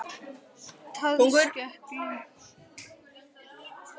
Taðskegglingur.stökk hæð sína í öllum herklæðum